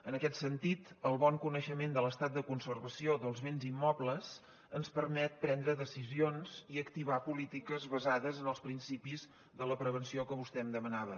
en aquest sentit el bon coneixement de l’estat de conservació dels béns immobles ens permet prendre decisions i activar polítiques basades en els principis de la prevenció que vostè em demanava